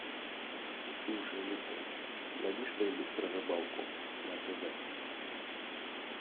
слушай алиса найди что нибудь про рыбалку на тв